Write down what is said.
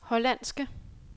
hollandske